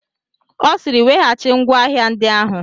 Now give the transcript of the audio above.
Ọ sịịrị weghachi ngwa ahịa ndị ahụ!